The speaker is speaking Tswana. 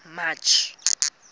march